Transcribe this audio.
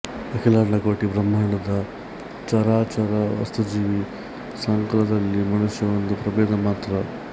ಅಖಿಲಾಂಡಕೋಟಿ ಬ್ರಂಹಾಂಡದ ಚರಾಚರ ವಸ್ತುಜೀವ ಸಂಕುಲದಲ್ಲಿ ಮನುಷ್ಯ ಒಂದು ಪ್ರಬೇಧ ಮಾತ್ರ